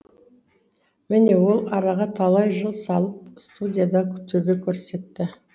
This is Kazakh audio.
міне ол араға талай жыл салып студияда төбе көрсетті